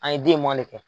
An ye den mɔn de kɛ